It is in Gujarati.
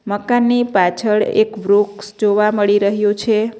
મકાનની પાછળ એક વૃક્ષ જોવા મળી રહ્યું છે.